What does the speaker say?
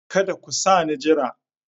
Kada ku sa ni jira!